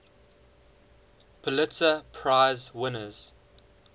pulitzer prize winners